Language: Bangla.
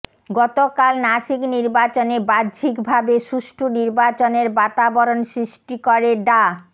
গতকাল নাসিক নির্বাচনে বাহ্যিকভাবে সুষ্ঠু নির্বাচনের বাতাবরণ সৃষ্টি করে ডা